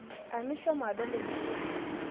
Anu ishomo adol nkitok?